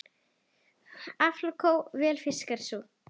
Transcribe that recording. Aflakló vel fiskar sú.